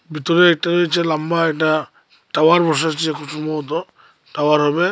ভিতরে এটা হচ্ছে লম্বা একটা টাওয়ার বসাচ্ছে খুব সম্ভবত টাওয়ার হবে।